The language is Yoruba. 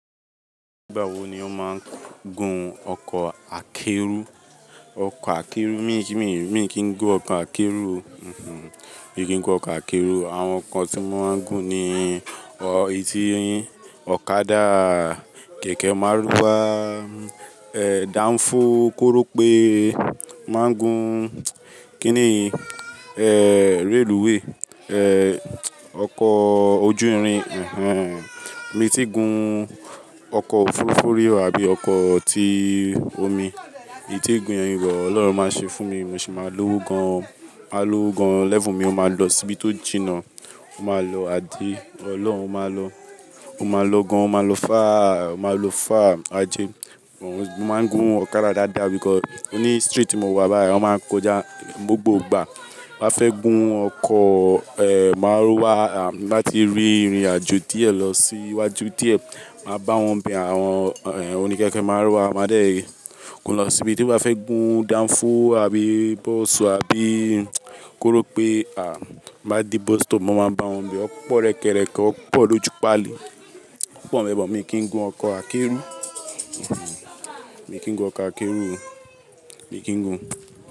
Nígbà wo ni o máa ń gùn ọkọ̀ akẹ́rù? Ọkọ̀ akẹ́rù, mi kì n gun ọkọ̀ akẹ́rù. Mi kì n gun ọkọ̀ akẹ́rù o. Àwọn nǹkan tí mo máa ń gùn ni etí, ọ̀kadà, kẹ̀kẹ́ márúwá, danfo, korope. Ma gun kíni i? Rélùweè, ọkọ̀ ojú irin. Mi tí gun ọkọ̀ òfurufú rí àbí ọkọ̀ tí omi. Mí tí gún ẹ̀yì but Ọlọ́run máa ṣe fún mi, mo sì máa lowo gan. Máa lo gan lẹ́fu mi o máa lọ síbi tó jìnnà. O máa àti, Ọlọ́run o máa lo. O máa lo gan, o máa lo fáa, o máa lo fáa, ajé. Mo máa ń gùn ọ̀kadà dáadáa because oní street tí mo wà báyìí wọ́n máa ń kójà gbogbo gbà. Wọ́n a fẹ́ gùn ọkọ̀ e márúwá láti rí ìrìn àjò díẹ̀ lọ sí iwájú díẹ̀, màá bá wọn bẹ̀ àwọn e oní kẹ̀kẹ́ márúwá. Máa dé kó lọ sí ibi tí mo bá fẹ́ gùn danfo àbí bus àbí korope. Máa dé bus stop, mo máa bá wọn n bẹ̀. Ó pọ̀ rẹ́kẹrẹ̀ke, ó pọ̀ lójú paàlí, ó pọ̀ mẹ́bọ̀. Mi kì í gun ọkọ̀ akẹ́ro. Mi kì í gun ọkọ̀ akẹ́rù. Mi kì í gun.